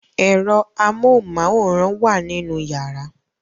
Ẹ̀rọ amóhunmáwòrán wà nínú yàrá